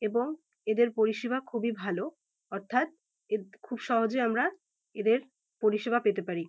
এবং এদের পরিষেবা খুবই ভালো অর্থাৎ এদ খুব সহজে আমরা এদের পরিষেবা পেতে পারি।